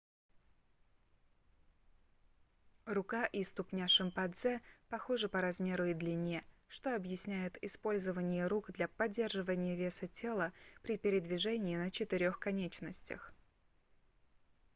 рука и ступня шимпанзе похожи по размеру и длине что объясняет использование рук для поддержания веса тела при передвижении на четырёх конечностях